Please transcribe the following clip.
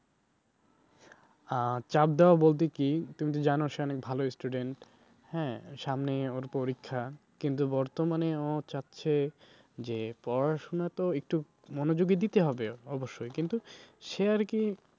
অ্যা চাপ দেওয়া বলতে কি তুমি তো জানো সে অনেক ভালো student হ্যাঁ সামনেই ওর পরীক্ষা কিন্তু বর্তমানে ও চাইছে যে পড়াশোনাতে তো একটু মনোযোগী দিতে হবে অবশ্যই কিন্তু সে আর কি